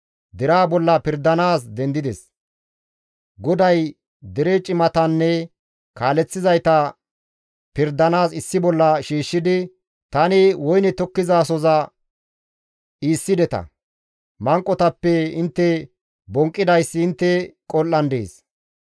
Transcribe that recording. GODAY dere cimatanne kaaleththizayta pirdanaas issi bolla shiishshidi, «Tani woyne tokkizasohoza iissideta; manqotappe intte bonqqidayssi intte qol7an dees.